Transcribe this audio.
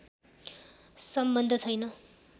सम्बन्ध छैन